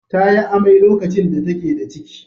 Ta yi amai lokacin da take da ciki.